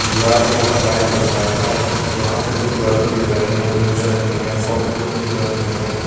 दीवार पे ऊपर लाइट जल रहा है यहां पे कुछ बैलून दिख रहे हैं जो नीले रंग के हैं और कुछ पिक कलर के हैं।